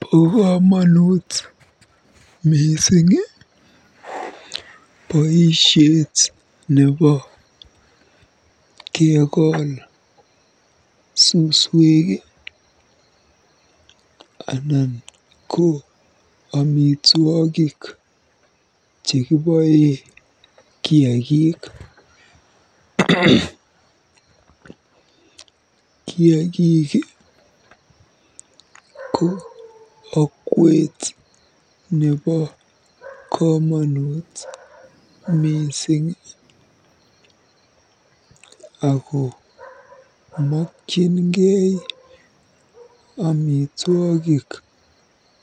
Bo komonut mising boisiet nebo kekol suswek anan ko amitwogik chekiboe kiagik. Kiaagik ko okwet nebo komonut mising ako mokyingei amitwogik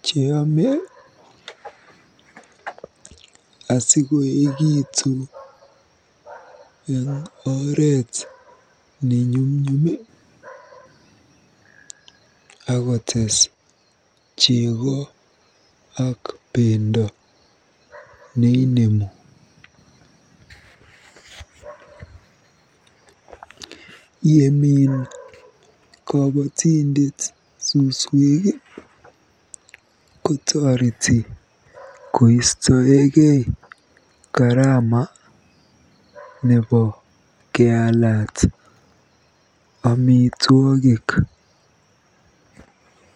cheyome asikoekitu eng oret nenyumnyum akotees jego. Yemin kobotindet suswek, kotoreti koistoekei karama nebo keaalat amitwogik.